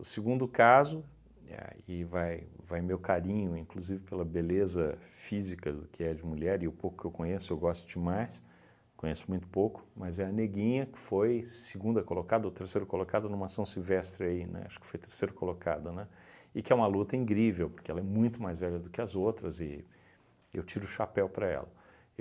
O segundo caso, éh aí vai vai meu carinho, inclusive, pela beleza física que é de mulher, e o pouco que eu conheço, eu gosto demais, conheço muito pouco, mas é a Neguinha, que foi segunda colocada ou terceira colocada numa São Silvestre aí, né, acho que foi terceira colocada, né, e que é uma luta incrível, porque ela é muito mais velha do que as outras, e eu tiro o chapéu para ela.